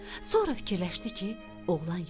Sonra fikirləşdi ki, oğlan yoxdu.